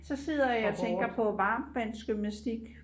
så sidder jeg og tænker på varmtvandsgymnastik